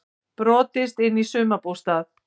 Brotist inn í sumarbústað